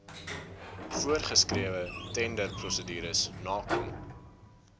voorsgeskrewe tenderprosedures nakom